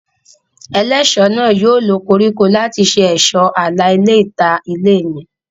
Ẹlẹ́ṣọ̀ náà yóò lo koríko láti ṣe ẹ̀ṣọ́ àlà ilẹ̀ ìta ilé mi